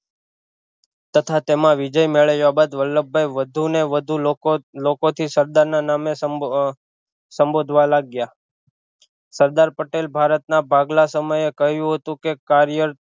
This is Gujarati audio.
તથા તેમાં વિજય મેળવ્યા બાદ વલ્લભભાઈ વધુ ને વધુ લોકો લોકો થી સરદાર ના નામે સંબો સંબોધવા લાગ્યા સરદાર પટેલ ભારત ના ભાગલા સમયે કહ્યું હતું કે કાર્ય